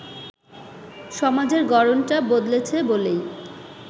সমাজের গড়নটা বদলেছে বলেই